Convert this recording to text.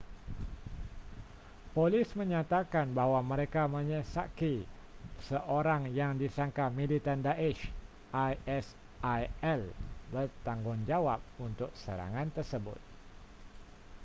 polis menyatakan bahawa mereka mengesyaki seorang yang disangka militan daesh isil bertanggungjawab untuk serangan tersebut